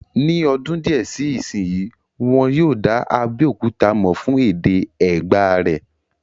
Ní ọdún díẹ̀ sí ìsínyi, wọ́n yóò dá Abéòkúta mọ̀ fún èdè Ẹ̀gbá rẹ̀